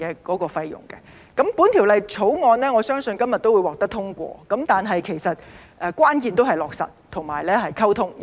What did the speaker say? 我相信《條例草案》今日會獲得通過，但關鍵是落實和溝通。